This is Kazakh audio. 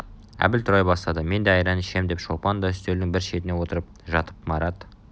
әбіл турай бастады -мен де айран ішем деді шолпан да үстелдің бір шетіне отырып жатып марат